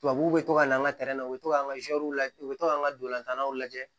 Tubabuw bɛ to ka na an ka na u bɛ to k'an ka lajɛ u bɛ to k'an ka dolanw lajɛ